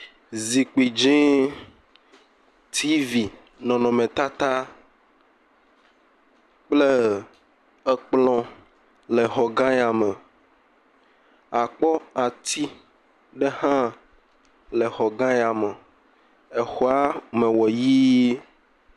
Zikpui dzi TV, nɔnɔme tata kple kplɔ le xɔ gã ya me. Akpɔ ati hã le kplɔ gã yame. Exɔa me wɔ ʋie.